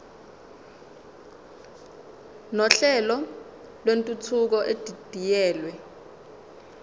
nohlelo lwentuthuko edidiyelwe